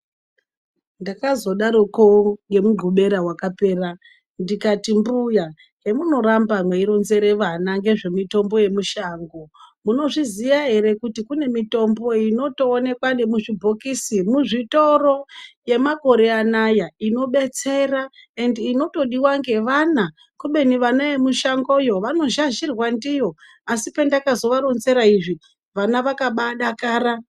Ndakazodaroko ngemugxubera wakapera ndikati "Mbuya hemunoramba mweironzera vana ngezvemitombo yemushango munozviziya ere kuti kune mitombo inotoonekwa nemuzvibhokisi muzvitoro yemakore anya inodetsera ende inotodiwa ngevana kubeni vana yemushangoyo vanozhazhirwa ndiyo", asi pendakazovaronzera izvi vana vakabaadakara.